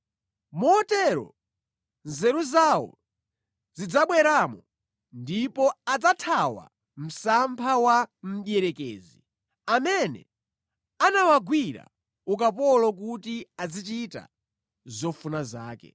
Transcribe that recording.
Motero nzeru zawo zidzabweramo, ndipo adzathawa msampha wa mdierekezi, amene anawagwira ukapolo kuti azichita zofuna zake.